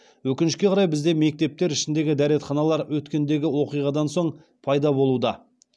өкінішке қарай бізде мектептер ішіндегі дәретханалар өткендегі оқиғадан соң пайда болуда